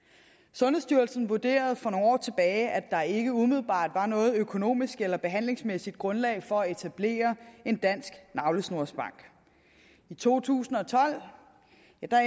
sundhedsstyrelsen vurderede for nogle år tilbage at der ikke umiddelbart var noget økonomisk eller behandlingsmæssigt grundlag for at etablere en dansk navlesnorsbank i to tusind og tolv